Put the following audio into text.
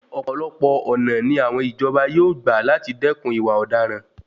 Ọ̀pọ̀lọpọ̀ ọ̀nà ni àwọn ìjọba yóò gba làti dẹ́kun ìwà ọ̀daràn.